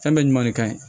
Fɛn bɛɛ ɲuman de ka ɲi